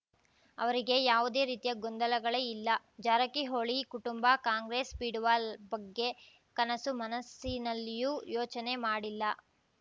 ಅವರಿಗೆ ಯಾವುದೇ ರೀತಿಯ ಗೊಂದಲಗಳೇ ಇಲ್ಲ ಜಾರಕಿಹೊಳಿ ಕುಟುಂಬ ಕಾಂಗ್ರೆಸ್‌ ಬಿಡುವ ಬಗ್ಗೆ ಕನಸು ಮನಸ್ಸಿನಲ್ಲಿಯೂ ಯೋಚನೆ ಮಾಡಿಲ್ಲ